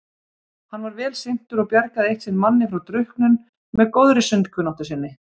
Hann var vel syntur og bjargaði eitt sinn manni frá drukknum með góðri sundkunnáttu sinni.